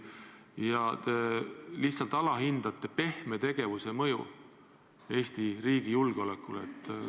Vahest te lihtsalt alahindate niisuguse pehme tegevuse mõju Eesti riigi julgeolekule?